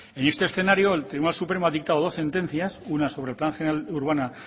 en este escenario el tribunal supremo ha dictado dos sentencias una sobre el plan general de organización urbana